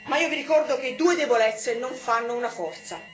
Io vi ricordo che due debolezze non fanno una forza